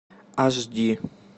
аш ди